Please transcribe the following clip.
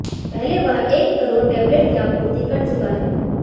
पहले वह एक करोड़ टैबलेट की आपूर्ति कर चुका है